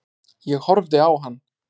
Ég horfði á hann.